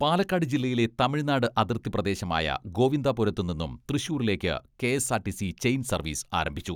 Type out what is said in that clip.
പാലക്കാട് ജില്ലയിലെ തമിഴ്നാട് അതിർത്തി പ്രദേശമായ ഗോവിന്ദാപുരത്തു നിന്നും തൃശൂരിലേക്ക് കെ.എസ്.ആർ.ടി.സി ചെയിൻ സർവീസ് ആരംഭിച്ചു.